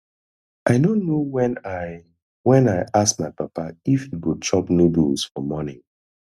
i no know when i when i ask my papa if he go chop noodles for morning